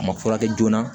A ma furakɛ joona